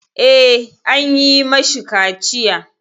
Eh, an yi mashi kaciya.